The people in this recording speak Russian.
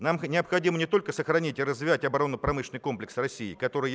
нам необходимо не только сохранить и развивать оборонно-промышленный комплекс россии который